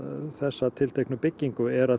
þessa tilteknu byggingu er að